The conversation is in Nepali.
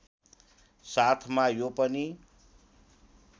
साथमा यो पनि